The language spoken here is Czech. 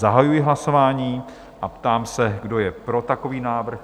Zahajuji hlasování a ptám se, kdo je pro takový návrh?